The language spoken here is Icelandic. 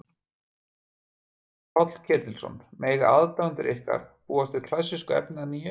Páll Ketilsson: Mega aðdáendur ykkar búast við klassísku efni eða nýju?